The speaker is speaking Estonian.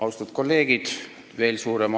Austatud kolleegid!